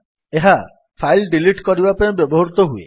ଏହା file delete କରିବା ପାଇଁ ବ୍ୟବହୃତ ହୁଏ